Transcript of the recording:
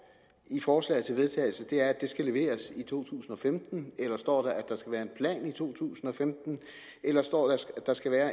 i forslaget til vedtagelse er at det skal leveres i to tusind og femten eller står der at der skal være en plan i to tusind og femten eller står der at der skal være